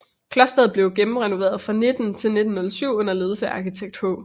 Klosteret blev gennemrenoveret fra 1900 til 1907 under ledelse af arkitekt H